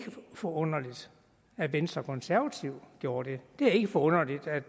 forunderligt at venstre og konservative gjorde det det er ikke forunderligt at